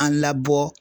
An labɔ